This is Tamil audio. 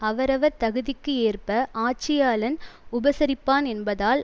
அவரவர் தகுதிக்கு ஏற்ப ஆட்சியாளன் உபசரிப்பான் என்பதால்